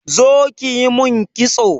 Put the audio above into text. Zo ƙi ƴi min ƙitso.